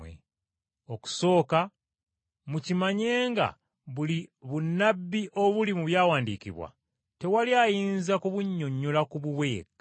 Okusooka mukimanye nga buli bunnabbi obuli mu byawandiikibwa, tewali ayinza kubunnyonnyola ku bubwe yekka.